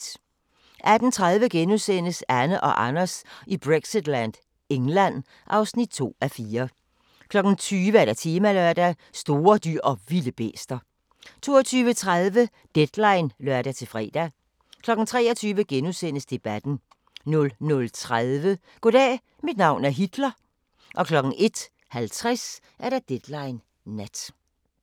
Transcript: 18:30: Anne og Anders i Brexitland: England (2:4)* 20:00: Temalørdag: Store dyr & vilde bæster 22:30: Deadline (lør-fre) 23:00: Debatten * 00:30: Goddag, mit navn er Hitler 01:50: Deadline Nat